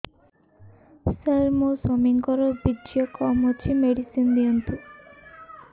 ସାର ମୋର ସ୍ୱାମୀଙ୍କର ବୀର୍ଯ୍ୟ କମ ଅଛି ମେଡିସିନ ଦିଅନ୍ତୁ